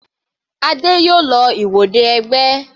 Adé yòó lọ ìwọde ẹgbẹ́.